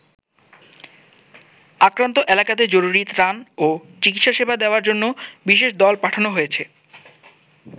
আক্রান্ত এলাকাতে জরুরী ত্রাণ ও চিকিৎসা সেবা দেয়ার জন্য বিশেষ দল পাঠানো হয়েছে।